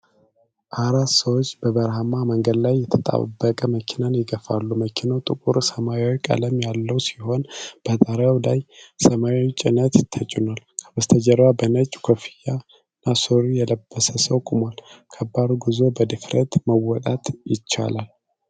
አራት ሰዎች በበረሃማ መንገድ ላይ የተጣበቀ መኪናን ይገፋሉ። መኪናው ጥቁር ሰማያዊ ቀለም ያለው ሲሆን በጣሪያው ላይ ሰማያዊ ጭነት ተጭኗል። ከበስተጀርባ በነጭ ኮፍያ እና ሱሪ የለበሰ ሰው ቆሟል። ከባድ ጉዞ በድፍረት መወጣት ይቻላል?